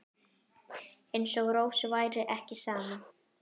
Eins og Rósu væri ekki sama.